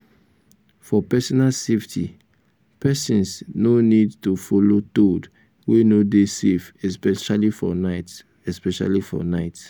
for personal safety persons no need to follow toad wey no dey safe especially for night especially for night